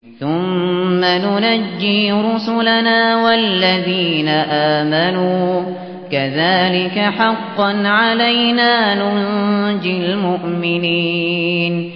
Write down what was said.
ثُمَّ نُنَجِّي رُسُلَنَا وَالَّذِينَ آمَنُوا ۚ كَذَٰلِكَ حَقًّا عَلَيْنَا نُنجِ الْمُؤْمِنِينَ